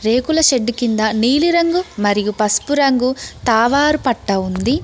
రేకుల షెడ్డు కింద నీలిరంగు మరియు పసుపు రంగు తావారు పట్టా ఉంది.